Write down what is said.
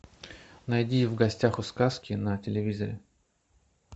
найди в гостях у сказки на телевизоре